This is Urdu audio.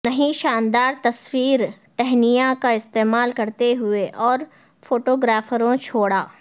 نہیں شاندار تصویر ٹہنیاں کا استعمال کرتے ہوئے اور فوٹوگرافروں چھوڑا